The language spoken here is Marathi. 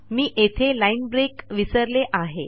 मी येथे लाईन ब्रेक विसरले आहे